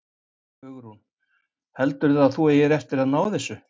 Hugrún: Heldurðu að þú eigir eftir að ná þessu?